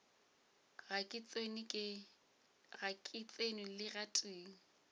ga ke tsenwe le gatee